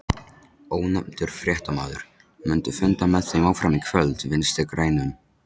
Ónefndur fréttamaður: Mundu funda með þeim áfram í kvöld, Vinstri-grænum?